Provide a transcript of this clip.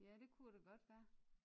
Ja det kunne det godt være